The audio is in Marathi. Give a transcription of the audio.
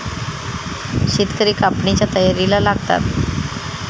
शेतकरी कापणीच्या तयारीला लागतात.